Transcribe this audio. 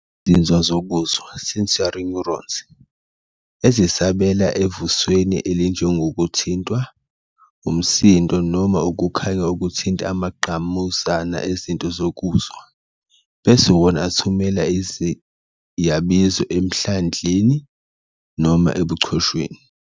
Izinzwa zokuzwa, "sensory neurons", ezisabela evusweni elinjengokuthintwa, umsindo, noma ukukhanya okuthinta amangqamuzana ezitho zokuzwa, bese wona athumela iziyabizo emhlandleni noma ebuchosheni.